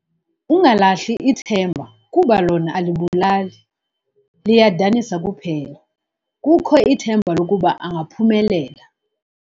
Ungalahli ithemba kuba lona alibulali, liyadanisa kuphela. kukho ithemba lokuba angaphumelela